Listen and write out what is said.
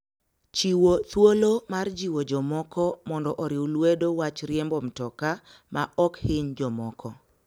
Chiwo thuolo mar jiwo jomoko mondo oriw lwedo wach riembo mtoka maok hiny jomoko.